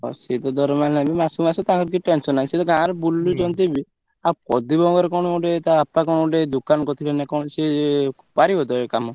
ସିଏ ତ ଦରମା ନେବେ ମାସକୁ ମାସ ତାଙ୍କର କିଛି tension ନାହିଁ ସିଏ ତ ଗାଁରେ ବୁଲୁଛନ୍ତି ବି ଆଉ ପ୍ରଦୀପ ଙ୍କର କଣ ଗୋଟେ ତା ବାପା ଙ୍କ ଗୋଟେ ଦୋକାନ କରିଥିଲେ ନା କଣ ସିଏ ପାରିବ ତ ଇଏ କାମ?